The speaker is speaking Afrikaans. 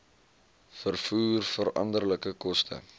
vervoer veranderlike koste